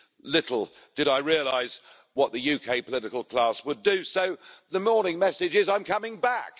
Little did I realise what the UK political class would do, so the morning message is I'm coming back.